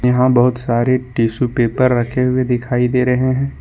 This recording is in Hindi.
यहां बहुत सारे टिशू पेपर रखे हुए दिखाई दे रहे हैं।